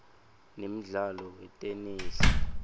nemdlalo weteney